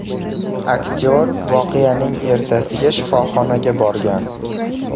Aktyor voqeaning ertasiga shifoxonaga borgan.